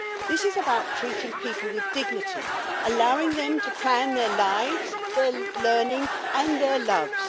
This is about treating people with dignity, allowing them to plan their lives, their learning and their loves.